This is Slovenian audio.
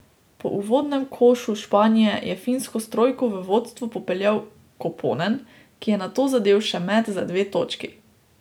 Po uvodnem košu Španije je Finsko s trojko v vodstvo popeljal Koponen, ki je nato zadel še met za dve točki.